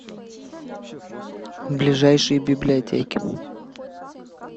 ближайшие библиотеки